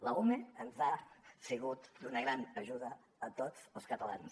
l’ume ens ha sigut d’una gran ajuda a tots els catalans